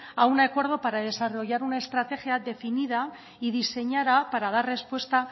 a un acuerdo para desarrollar una estrategia definida y diseñada para dar respuesta